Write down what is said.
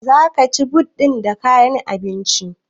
Zaka cika but ɗin da kayan abinci?